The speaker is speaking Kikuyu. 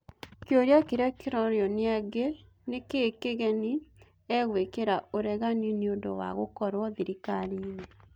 Kĩũria kĩrĩa kĩrorio nĩangĩ, nĩkĩĩ kĩgeni e-gũĩkira ũregani nĩũndũ wa gũkorwo thirikariinĩ ?